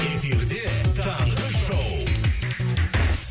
эфирде таңғы шоу